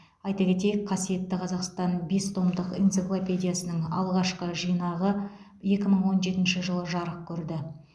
айта кетейік қасиетті қазақстан бестомдық энциклопедиясының алғашқы жинағы екі мың он жетінші жылы жарық көрді